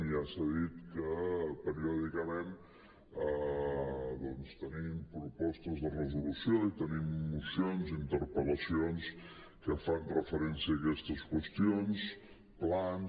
ja s’ha dit que periòdicament doncs tenim pro·postes de resolució i tenim mocions i interpel·lacions que fan referència a aquestes qüestions plans